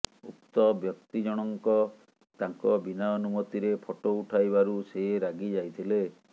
ଉକ୍ତ ବ୍ୟକ୍ତି ଜଣଙ୍କ ତାଙ୍କ ବିନା ଅନୁମତିରେ ଫଟୋ ଉଠାଇବାରୁ ସେ ରାଗିଯାଇଥିଲେ